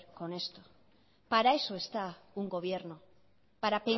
con esto para eso está un gobierno para